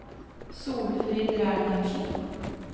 Solfrid Reinertsen